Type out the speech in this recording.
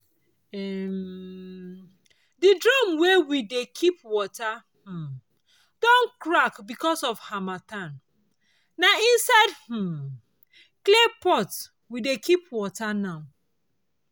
um the drum wey dey wey dey keep water um don crack because of harmattan na inside um clay pot we dey keep water now.